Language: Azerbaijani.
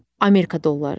Amerika dolları.